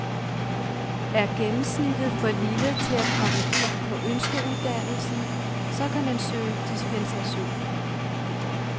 Er gennemsnittet for lille til at komme ind på ønskeuddannelsen, så kan man søge dispensation.